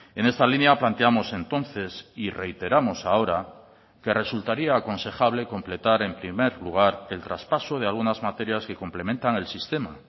en esta línea planteamos entonces y reiteramos ahora que resultaría aconsejable completar en primer lugar el traspaso de algunas materias que complementan el sistema